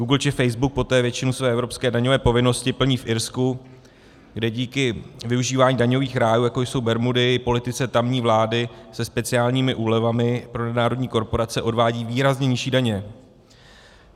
Google či Facebook poté většinu své evropské daňové povinnosti plní v Irsku, kde díky využívání daňových rájů, jako jsou Bermudy, politice tamní vlády se speciálními úlevami pro nadnárodní korporace odvádějí výrazně nižší daně.